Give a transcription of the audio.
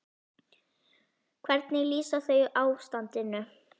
Hvernig lýsa þau ástandinu?